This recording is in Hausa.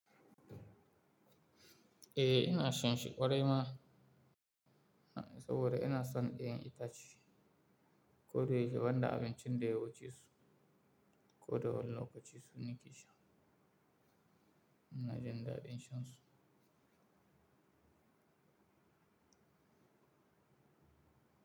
Eh ina shan shi ƙwarai ma saboda ina son 'ya'yan itace. Ko dai shi banda abincin da yawuce su, ko dai wani lokaci su nake sha. Ina jin daɗin shan su.